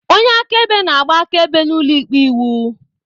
Onye akaebe na-agba akaebe n'ụlọikpe iwu.